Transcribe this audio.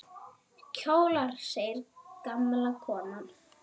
Kjólar! segir gamla konan.